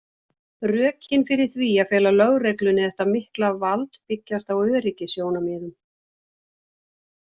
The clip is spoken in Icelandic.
Rökin fyrir því að fela lögreglunni þetta mikla vald byggjast á öryggissjónarmiðum.